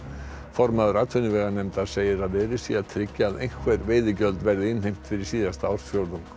formaður atvinnuveganefndar segir að verið sé að tryggja að einhver veiðigjöld verði innheimt fyrir síðasta ársfjórðung